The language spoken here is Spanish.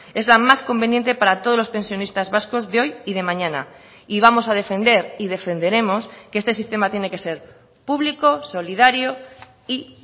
es la más conveniente para todos los pensionistas vascos de hoy y de mañana y vamos a defender y defenderemos que este sistema tiene que ser público solidario y